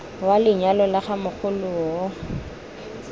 wa lenyalo la ga mogoloo